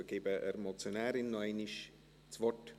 – Ich gebe noch einmal der Motionärin das Wort.